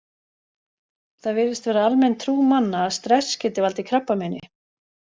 Það virðist vera almenn trú manna að stress geti valdið krabbameini.